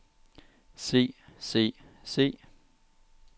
se se se